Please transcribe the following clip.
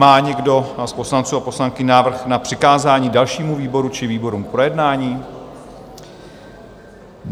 Má někdo z poslanců a poslankyň návrh na přikázání dalšímu výboru či výborům k projednání?